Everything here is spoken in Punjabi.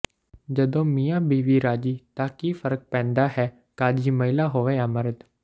ਜਦੋਂ ਮੀਆਂ ਬੀਵੀ ਰਾਜੀ ਤਾਂ ਕੀ ਫਰਕ ਪੈਂਦਾ ਹੈ ਕਾਜੀ ਮਹਿਲਾ ਹੋਵੇ ਜਾਂ ਮਰਦ